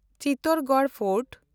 Chittorgarh fort